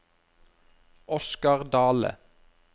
Oscar Dahle